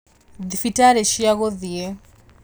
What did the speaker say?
Thibitarĩ cia gũthiĩ